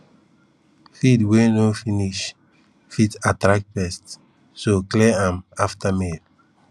feed wey no finish fit attract pests so clear am after meal